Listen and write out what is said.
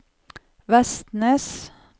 Vestnes